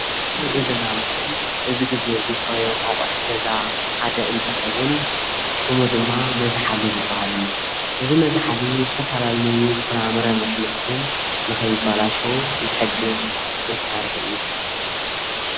እዚ ንሪኦ ዘለና ምስሊ እዚ ግዜ ዘፍረዮም አቑሑት ገዛ ሓደ እንትኸውን ስሙ ድማ መዝሓሊ ዝበሃል እዩ። እዚ መዝሓሊ ዝተፈላለዬ ፍራምረን ኣሕምልትን ንኸይበላሸዉ ዝሕግዝ መሳርሒ እዩ።